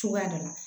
Cogoya dɔ la